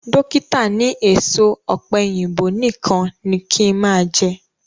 Dókítà ni èso ọ̀pẹ̀yìnbo nìkan ni kí n máa jẹ